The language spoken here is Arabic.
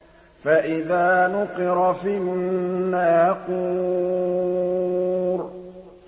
فَإِذَا نُقِرَ فِي النَّاقُورِ